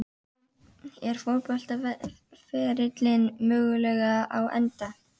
Er fótboltaferillinn mögulega á enda?